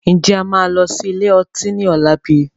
Ǹjẹ́ a máa lọ sí ilé ọtí ni ọ̀la bíi?